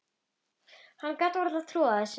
Hann gat varla trúað þessu.